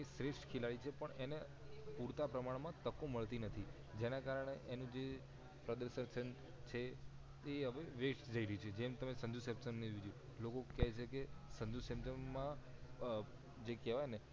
એ શ્રેઠ ખિલાડી છે પણ એને પૂરતા પ્રમાણ માં તકો મળતી નથી જેના કારણે એની જે પ્રદર્શન છે હવે west જય રહીયુ છે જેમ તમે સંજુ સેમસોન લોકો કહે છે કે સંજુ સેમસોન માં જે કહેવાય ને